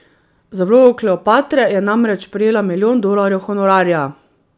Za vlogo Kleopatre je namreč prejela milijon dolarjev honorarja.